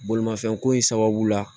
Bolimafɛn ko in sababu la